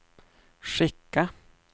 skicka